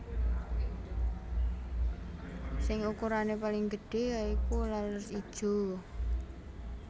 Sing ukurané paling gedhé ya iku laler ijo